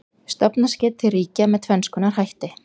Stofnast getur til ríkja með tvenns konar hætti.